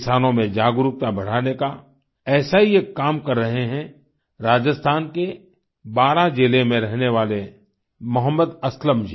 किसानों में जागरूकता बढ़ाने का ऐसा ही एक काम कर रहे हैं राजस्थान के बारां जिले में रहने वाले मोहम्मद असलम जी